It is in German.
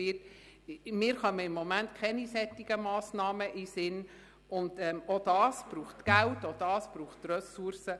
Mir kommen gegenwärtig keine solchen Massnahmen in den Sinn, und auch das braucht Geld und Ressourcen.